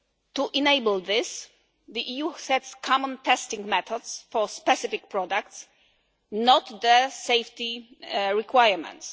To enable this the EU sets common testing methods for specific products, not their safety requirements.